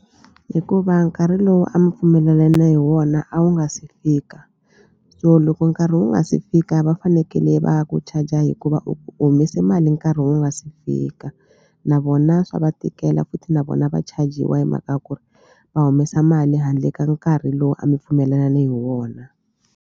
Hikuva nkarhi lowu a mi pfumelelane hi wona a wu nga se fika so loko nkarhi wu nga si fika va fanekele va ku charger hikuva u humese mali nkarhi wu nga si fika na vona swa va tikela futhi na vona va chajiwa hi mhaka ya ku ri va humesa mali handle ka nkarhi lowu a mi pfumelelane hi wona.